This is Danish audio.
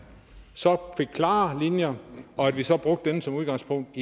fik klare linjer og at vi så brugte det som udgangspunkt